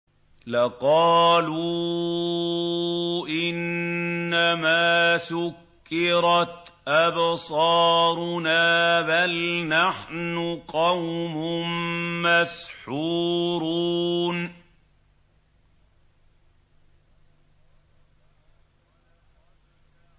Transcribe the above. لَقَالُوا إِنَّمَا سُكِّرَتْ أَبْصَارُنَا بَلْ نَحْنُ قَوْمٌ مَّسْحُورُونَ